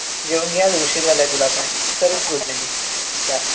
जेवून घे आज उशीर झालाय तुला पण चल good night bye